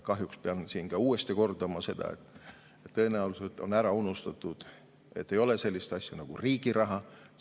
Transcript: Kahjuks pean siin uuesti kordama seda, et tõenäoliselt on ära unustatud, et ei ole sellist asja nagu riigi raha.